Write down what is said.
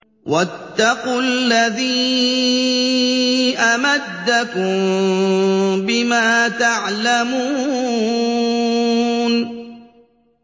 وَاتَّقُوا الَّذِي أَمَدَّكُم بِمَا تَعْلَمُونَ